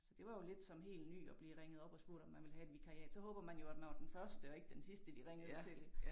Så det var jo lidt som helt ny at blive ringet op og spurgt om man ville have et vikariat så håber jo man at man var den første og ikke den sidste de ringede til